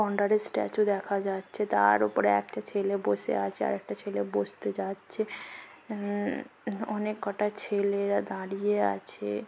গন্ডারের statue দেখা যাচ্ছে। তার ওপরে একটা ছেলে বসে আছে। আর একটা ছেলে বসতে যাচ্ছে। উম হু অনেক কটা ছেলেরা দাঁড়িয়ে আছে।